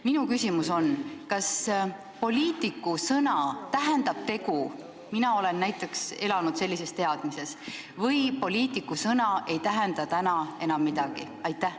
Minu küsimus on: kas poliitiku sõna tähendab tegu – mina näiteks olen elanud sellises teadmises – või poliitiku sõna ei tähenda täna enam midagi?